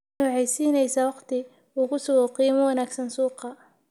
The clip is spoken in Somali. Tani waxay siinaysaa waqti uu ku sugo qiimo wanaagsan suuqa.